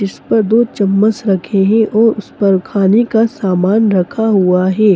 इस पर दो चम्मच रखे हैं और उस पर खाने का समान रखा हुआ हैं।